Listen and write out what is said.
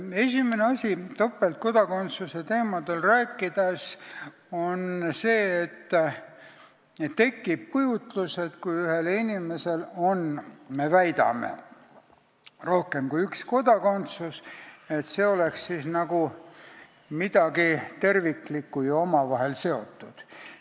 Esimene asi topeltkodakondsuse teemadel rääkides on see, et kui me väidame, et ühel inimesel on rohkem kui üks kodakondsus, siis tekib kujutlus, nagu oleks see midagi terviklikku ja omavahel seotut.